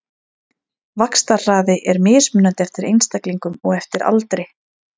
Vaxtarhraði er mismunandi eftir einstaklingum og eftir aldri.